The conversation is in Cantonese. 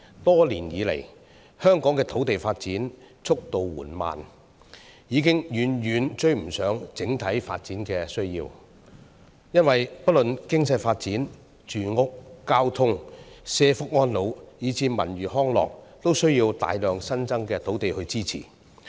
多年以來，香港的土地發展速度緩慢，已經遠遠追不上整體發展需要。因為不論經濟發展、住屋、交通、社福安老，以至文娛康樂等，都需要大量新增土地支持。